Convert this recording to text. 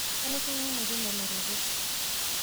kanu ishukunyenye teina lototo?